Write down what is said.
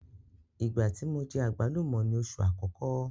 Ìgbá tí mo jẹ àgbálùmọ́ ni oṣù àkọ́kọ́.